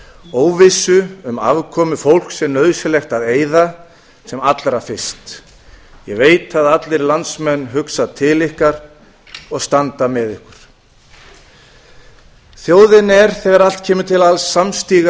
óvissu um afkomu fólks er nauðsynlegt að eyða sem allra fyrst ég veit að allir landsmenn hugsa til hvar og standa með ykkur þjóðin er þegar allt kemur til alls